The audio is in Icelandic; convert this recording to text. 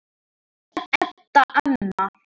Edda amma.